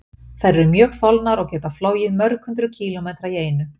Þær eru mjög þolnar og geta flogið mörg hundruð kílómetra í einu.